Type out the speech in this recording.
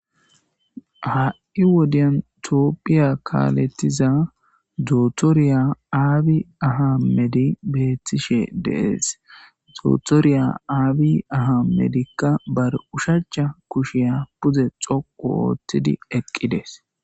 Ha'i wodiyan tophiya kalethiza dotoriya abi ahmedey betishe de'es, dotoriya abi ahmediyka ba oshacha kushiyan pude xoqu oothid eqides